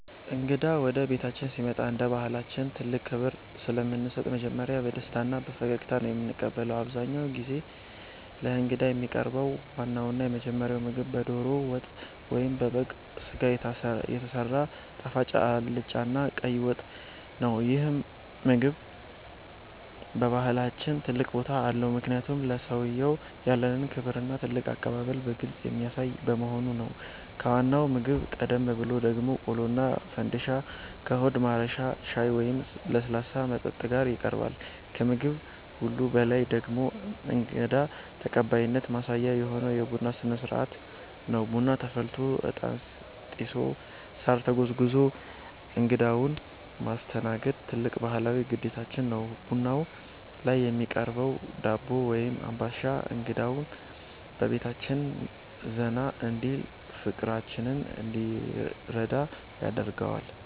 እንግዳ ወደ ቤታችን ሲመጣ እንደ ባሕላችን ትልቅ ክብር ስለምንሰጥ መጀመሪያ በደስታና በፈገግታ ነው የምንቀበለው። አብዛኛውን ጊዜ ለእንግዳ የሚቀርበው ዋናውና የመጀመሪያው ምግብ በደሮ ወጥ ወይም በበግ ሥጋ የተሰራ ጣፋጭ አልጫና ቀይ ወጥ ነው። ይህ ምግብ በባሕላችን ትልቅ ቦታ አለው፤ ምክንያቱም ለሰውየው ያለንን ክብርና ትልቅ አቀባበል በግልጽ የሚያሳይ በመሆኑ ነው። ከዋናው ምግብ ቀደም ብሎ ደግሞ ቆሎና ፈንድሻ ከሆድ ማረሻ ሻይ ወይም ለስላሳ መጠጥ ጋር ይቀርባል። ከምግብ ሁሉ በላይ ደግሞ የእንግዳ ተቀባይነት ማሳያ የሆነው የቡና ሥነ-ሥርዓት ነው። ቡና ተፈልቶ፣ ዕጣን ጢሶ፣ ሳር ተጎዝጉዞ እንግዳውን ማስተናገድ ትልቅ ባሕላዊ ግዴታችን ነው። ቡናው ላይ የሚቀርበው ዳቦ ወይም አምባሻ እንግዳው በቤታችን ዘና እንዲልና ፍቅራችንን እንዲረዳ ያደርገዋል።